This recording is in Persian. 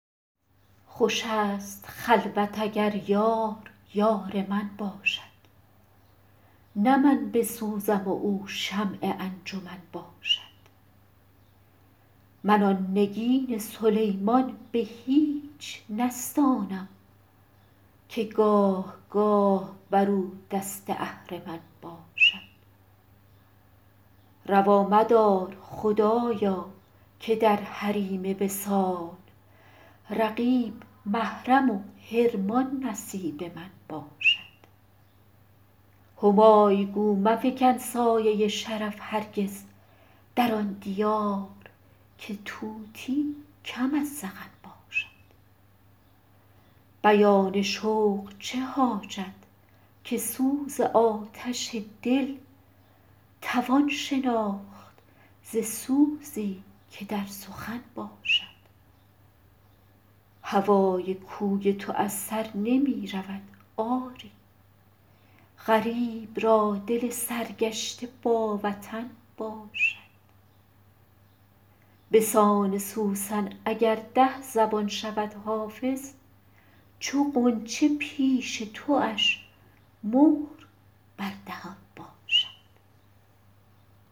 خوش است خلوت اگر یار یار من باشد نه من بسوزم و او شمع انجمن باشد من آن نگین سلیمان به هیچ نستانم که گاه گاه بر او دست اهرمن باشد روا مدار خدایا که در حریم وصال رقیب محرم و حرمان نصیب من باشد همای گو مفکن سایه شرف هرگز در آن دیار که طوطی کم از زغن باشد بیان شوق چه حاجت که سوز آتش دل توان شناخت ز سوزی که در سخن باشد هوای کوی تو از سر نمی رود آری غریب را دل سرگشته با وطن باشد به سان سوسن اگر ده زبان شود حافظ چو غنچه پیش تواش مهر بر دهن باشد